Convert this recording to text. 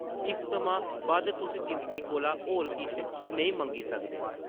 इस थमां बद्ध तुस जिंदगी कोला होर किश नेईं मंगी सकदे ।